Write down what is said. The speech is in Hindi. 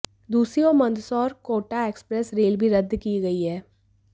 दूसरी ओर मंदसौर कोटा एक्सप्रेस रेल भी रद्द की गई है